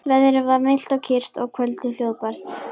Veðrið var milt og kyrrt og kvöldið hljóðbært.